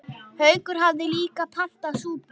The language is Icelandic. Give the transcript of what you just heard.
Haukur hafði líka pantað súpu.